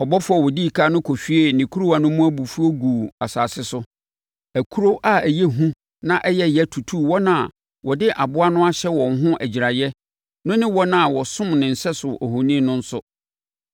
Ɔbɔfoɔ a ɔdi ɛkan no kɔhwiee ne kuruwa no mu abufuo guu asase so. Akuro a ɛyɛ hu na ɛyɛ yea tutuu wɔn a wɔde aboa no ahyɛ wɔn ho agyiraeɛ no ne wɔn a wɔsom ne sɛso ohoni no nso.